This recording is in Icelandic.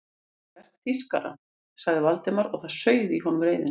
Þetta er verk þýskara sagði Valdimar og það sauð í honum reiðin.